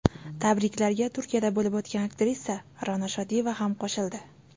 Tabriklarga Turkiyada bo‘lib turgan aktrisa Ra’no Shodiyeva ham qo‘shildi.